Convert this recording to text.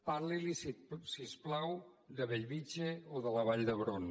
parli li si us plau de bellvitge o de la vall d’hebron